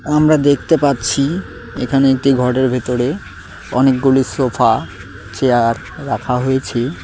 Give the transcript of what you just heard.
আমরা দেখতে পাচ্ছি এখানে একটি ঘরের ভেতরে অনেকগুলি সোফা চেয়ার রাখা হয়েছে।